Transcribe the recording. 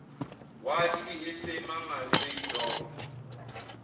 wathi esamangazwe yilokho